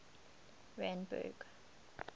randburg